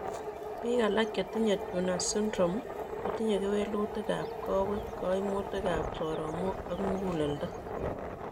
Bik alak chetinye Turner syndrome kotinye kewelutikab kowek, koimutikab soromok ak muguleldo